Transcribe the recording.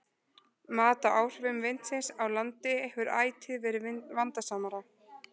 Mat á áhrifum vindsins á landi hefur ætíð verið vandasamara.